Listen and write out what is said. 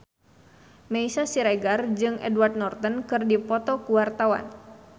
Meisya Siregar jeung Edward Norton keur dipoto ku wartawan